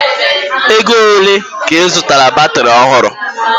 Ego ole ka ị zụtaara batiri ọhụrụ?